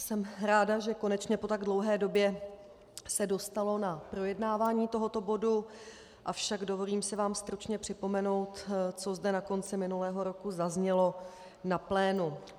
Jsem ráda, že konečně po tak dlouhé době se dostalo na projednávání tohoto bodu, avšak dovolím si vám stručně připomenout, co zde na konci minulého roku zaznělo na plénu.